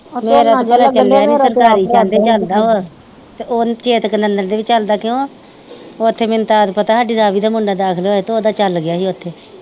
ਚੇਤਕ ਨੰਦਨ ਦੇ ਵੀ ਚਲਦਾ ਕਿਉਂ ਉੱਥੇ ਮੈਨੂੰ ਤਦ ਪਤਾ ਹਾਡੀ ਰਾਵੀ ਦਾ ਮੁੰਡਾ ਦਾਖ਼ਲ ਹੋਇਆ ਹੀ ਤੇ ਉਹ ਦਾ ਚਲ ਗਿਆ ਹੀ ਉੱਥੇ